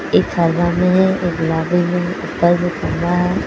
एक हरा में है और एक गुलाबी में ऊपर है।